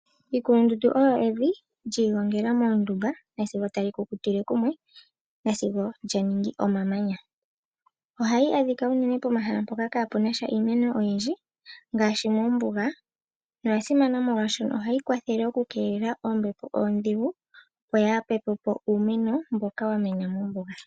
Iikulundundu oyo evi lyii gongela moondumba nasigo tali kukutile kumwe nasigo lya ningi omamanya ohayi adhika unene pomahala mpoka kaapunasha iimeno oyindji ngaashi moombuga oya simana molwashoka oha yi kwathele ombepo ondhigu opo yaapepepo uumeno mboka wa mena mombuga.